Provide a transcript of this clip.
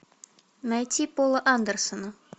найти пола андерсона